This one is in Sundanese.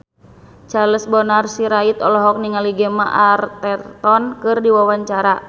Charles Bonar Sirait olohok ningali Gemma Arterton keur diwawancara